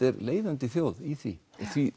er leiðandi þjóð í því því